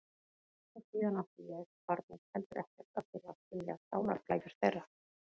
Og síðan átti ég, barnið, heldur ekkert að þurfa að skilja sálarflækjur þeirra.